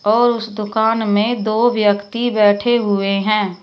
और उस दुकान में दो व्यक्ति बैठे हुए हैं।